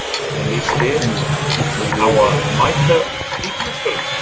Hvernig lýst þér á að mæta bikarmeisturunum?